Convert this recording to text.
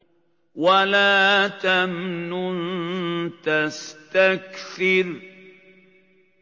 وَلَا تَمْنُن تَسْتَكْثِرُ